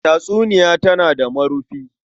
Tatsuniya tana da marufi.